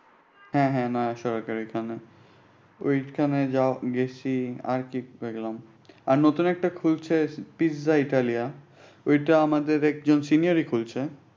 হ্যাঁ হ্যাঁ না সবাই করে। ঐখানে যাওয়া গেছি। আর কি কি করলাম? আর নতুন একটা খুলছে পিজ্জা ইতালিয়া। এটা আমাদের এক senior খুলছে